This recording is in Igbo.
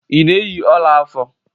Ị na-eyi ọla afọ?